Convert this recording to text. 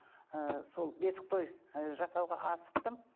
ы сол бесік той ы жасауға асықтым